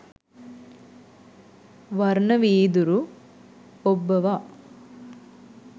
වර්ණ වීදුරු ඔබ්බවා